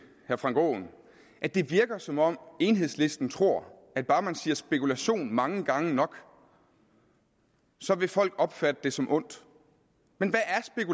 herre frank aaen at det virker som om enhedslisten tror at bare man siger spekulation mange gange nok så vil folk opfatte det som ondt men